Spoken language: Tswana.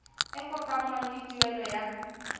e kopanngwang le tuelo ya